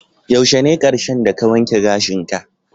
Yaushe ne karshen da ka wanke gashin ka?